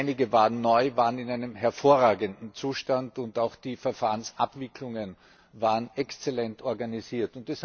Einige waren neu, waren in einem hervorragenden Zustand, und auch die Verfahrensabwicklungen waren exzellent organisiert.